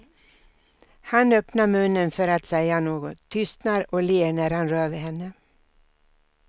Han öppnar munnen för att säga något, tystnar och ler när han rör vid henne.